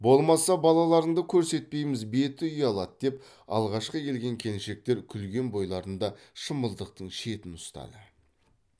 болмаса балаларыңды көрсетпейміз беті ұялады деп алғашқы келген келіншектер күлген бойларында шымылдықтың шетін ұстады